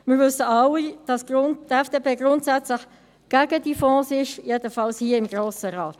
Wir wissen alle, dass die FDP grundsätzlich gegen die Fonds ist, jedenfalls hier im Grossen Rat.